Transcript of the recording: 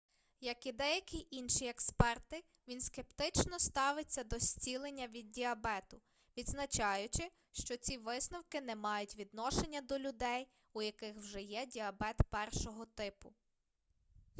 як і деякі інші експерти він скептично ставиться до зцілення від діабету відзначаючи що ці висновки не мають відношення до людей у яких вже є діабет 1-го типу